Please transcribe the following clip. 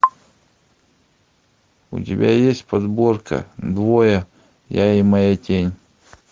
у тебя есть подборка двое я и моя тень